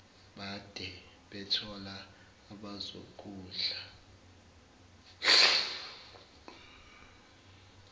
bade bethola abazokudla